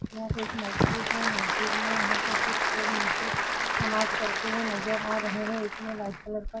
यहाँ पर एक मस्जिद है। मस्जिद में यहाँ पे कुछ लोग नीचे नमाज पढ़ते हुए नजर आ रहे हैं। इतने लाइट कलर का --